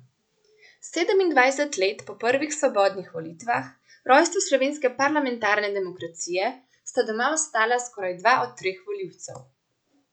Sedemindvajset let po prvih svobodnih volitvah, rojstvu slovenske parlamentarne demokracije, sta doma ostala skoraj dva od treh volivcev.